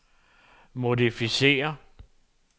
modificér